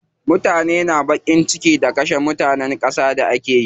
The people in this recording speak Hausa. Mutane na baƙin ciki da kashe mutanen gaza da akeyi.